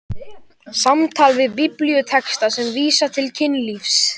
SAMTAL VIÐ BIBLÍUTEXTA SEM VÍSA TIL KYNLÍFS